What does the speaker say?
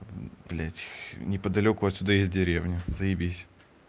блядь неподалёку отсюда есть деревня заебись